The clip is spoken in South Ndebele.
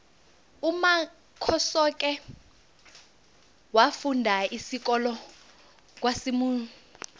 umakhosoke wafunda isikolo kwasimuyembiwa